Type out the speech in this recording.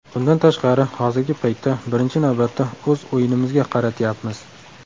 Bundan tashqari hozirgi paytda birinchi navbatda o‘z o‘yinimizga qaratyapmiz.